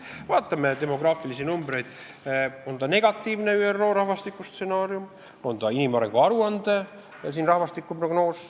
Vaatame demograafilisi numbreid, on need siis toodud negatiivses ÜRO rahvastikustsenaariumis või inimarengu aruande rahvastikuprognoosis.